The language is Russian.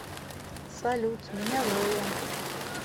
салют меня зоя